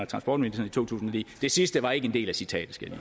transportministeren i to tusind og ni det sidste var ikke en del af citatet skal jeg